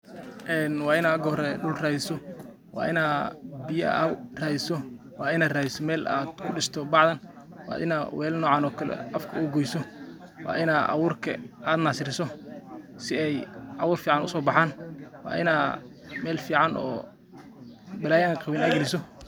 Waina marka hore dhul radiso, waina biyo ad radiso, waina radiso meel ad kudhisto bacda waina welal nocan oo kale afka ugoyso waina awurka ad nasariso si ey abur fican usobaxan waina mel fican oo balaya an qawin ad galiso.